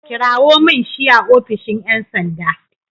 Kirawo min shi a ofishin ƴan sanda.